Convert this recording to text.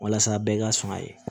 Walasa bɛɛ ka sɔn a ye